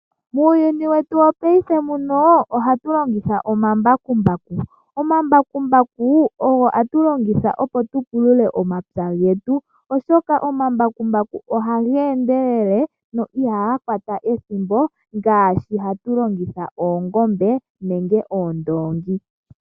Muuyuni wetu wopaife muno ohatu longitha omambakumbaku. Omambakumbaku ogo ha tu longitha opo tu pulule omapya getu, oshoka omambakumbaku oha ga endelele na ihaga kwata ethimbo ngaashi hatu longitha oongombe nenge oondongi.